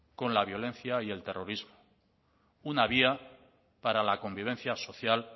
con la violencia y el terrorismo una vía para la convivencia social